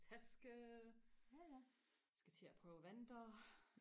taske skal til og prøve vanter